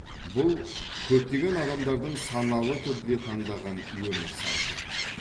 бұл көптеген адамдардың саналы түрде таңдаған өмір салты